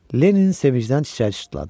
Lenni sevincdən çiçəyə tutuldu.